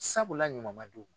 Sabula ɲuman man d'u ma.